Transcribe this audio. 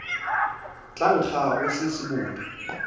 tla nkga go se sebodi